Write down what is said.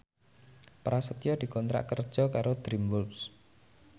Prasetyo dikontrak kerja karo DreamWorks